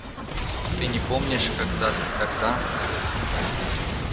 ты не помнишь когда ты тогда